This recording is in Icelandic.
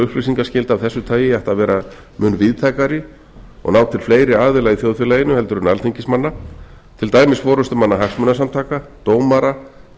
upplýsingaskylda af þessu tagi ætti að vera mun víðtækari og ná til fleiri aðila í þjóðfélaginu en alþingismanna til dæmis forustumanna hagsmunasamtaka dómara